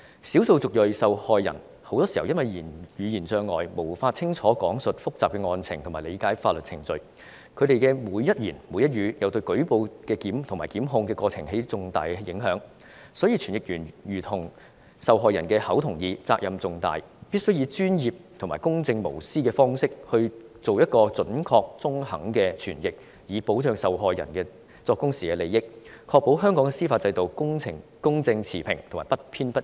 少數族裔受害人很多時因為語言障礙，無法清楚講述複雜的案情和理解法律程序，而他們的每一言、每一語都對舉報及檢控過程有重大影響，所以傳譯員有如受害人的口和耳，責任重大，他們必須專業和公正無私地作出準確和中肯的傳譯，以保障受害人作供時的利益，確保香港司法制度公正持平和不偏不倚。